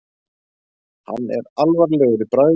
Hann er alvarlegur í bragði.